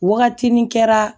Wagati nin kɛra